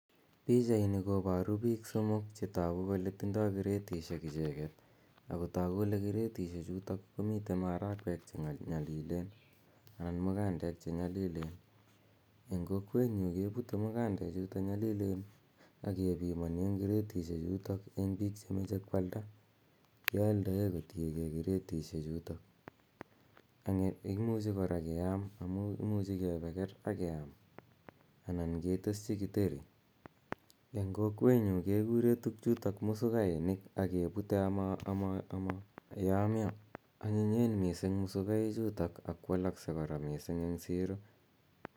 Pichaini koparu piik somok che tagu kole tindai kretishek icheget ako kretishechutok komitei marakwek che nyalilen ana mukandek che nyalilen. Eng' kokweet nyu kepute mkandechutok nyalilen akepimani eng' kretishechutok eng' piik che mache koalda kealdaei kotie gei kretishechutok. Imuchi kora keam, imuchi kepeker ak keam anan keteschi kitheri. Eng' kokwetnyu kekure tugchutok musukainik ak kepute ama yamya. Anyinyen missing' musukaichutok ako lakse kora missing' eng' siro.